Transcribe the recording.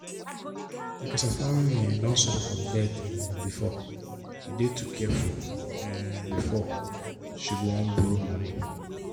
because her family um don suffer from debt um before she dey too careful um before she go wan borrow money.